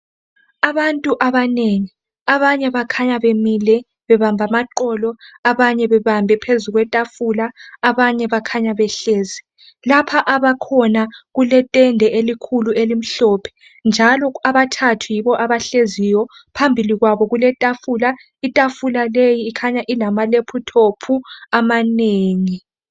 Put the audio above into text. Abantu abanengi abanye bakhanya bemile bebambe amaqolo abanye bebambe phezu kwetafula abanye bakhanya behleli. Lapha abakhona kuletende elikhulu elimhlophe njalo abathathu yibo abahleziyo phambi kwabo kuletafula itafula leyi ikhanya ilama lephuthophu amanengi.